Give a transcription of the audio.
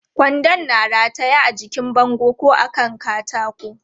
Kwandon na rataye a jikin bango ko a kan katako.